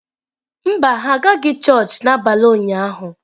Mba, ha agaghị chọọchị n’abalị ụnyahụ